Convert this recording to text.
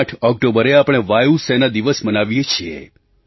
8 ઑક્ટોબરે આપણે વાયુ સેના દિવસ મનાવીએ છીએ